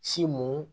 Si mun